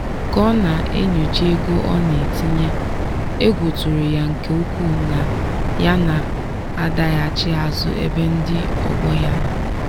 ka ọ na-enyocha ego ọ na-etinye egwu tụrụ ya nke ukwuu na ya na-adaghachi azụ ebe ndị ọgbọ ya nọ.